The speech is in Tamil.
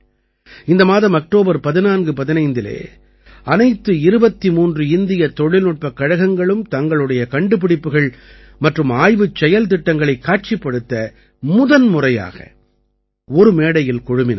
இந்த மாதம் அக்டோபர் 1415இலே அனைத்து 23 இந்திய தொழில்நுட்பக் கழகங்களும் தங்களுடைய கண்டுப்பிடிப்புகள் மற்றும் ஆய்வுச் செயல்திட்டங்களைக் காட்சிப்படுத்த முதன்முறையாக ஒரு மேடையில் குழுமினார்கள்